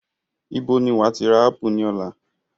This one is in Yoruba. Ibo ni wàá ti rà ápù ní ọ̀la?